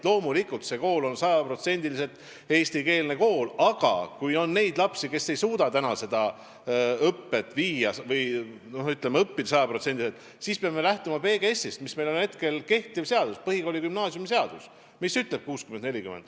Loomulikult on see kool sajaprotsendiliselt eestikeelne kool, aga kui on neid lapsi, kes ei suuda õppida sajaprotsendiliselt eesti keeles, siis peame lähtuma PGS-ist, mis on kehtiv seadus ja kus on kirjas see 60 : 40.